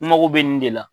N mago bɛ nin de la